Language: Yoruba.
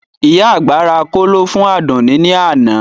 Ìyá àgbà ra kóló fún Àdùnní ní àná